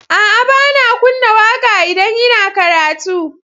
A'a, ba na kunna waƙa idan ina karatu.